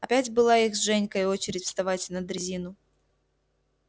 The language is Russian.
опять была их с женькой очередь вставать на дрезину